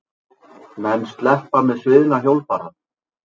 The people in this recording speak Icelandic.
Menn sleppa með sviðna hjólbarða?